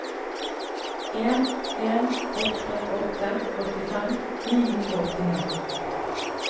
en en åtte åtte åttifem ni hundre og åttini